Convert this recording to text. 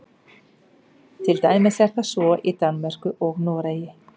til dæmis er það svo í danmörku og noregi